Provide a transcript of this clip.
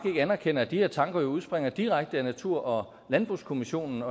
anerkender at de her tanker udspringer direkte af natur og landbrugskommissionens